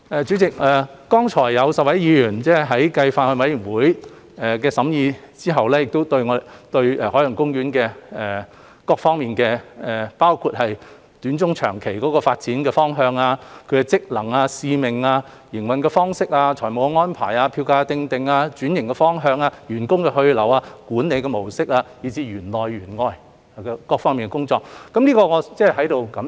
主席，剛才有10位議員繼法案委員會審議後，對海洋公園各方面，包括其短、中、長期發展方向、職能、使命、營運方式、財務安排、票價訂定、轉型方向、員工去留、管理模式，以至是園內園外各方面的工作提出了意見，我在此表示感謝。